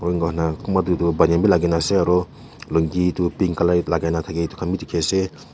enga hoi nah konba deyduh banyan bi lagi nah ase aru lungi tuh pink light itu khan bhi dikhi ase.